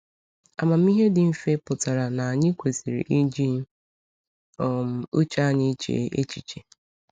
Amamihe dị mfe pụtara na anyị kwesịrị iji um uche anyị chee echiche.